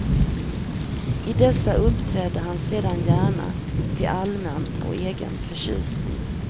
I dessa uppträdde han sedan gärna till allmän och egen förtjusning.